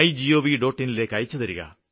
in ലേക്ക് അയച്ചുതരിക